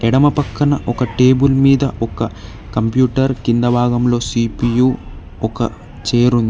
ఎడమ పక్కన ఒక టేబుల్ మీద ఒక కంప్యూటర్ కింద భాగంలో సి_పి_యు ఒక చేరు ఉం--